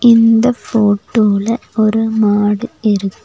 இந்த போட்டோல ஒரு மாடு இருக்.